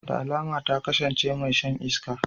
Da alama ta kasance mai shan iska.